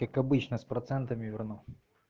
как обычно с процентами верну